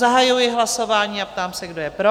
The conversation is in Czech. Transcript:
Zahajuji hlasování a ptám se, kdo je pro?